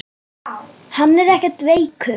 LÁRUS: Hann er ekkert veikur.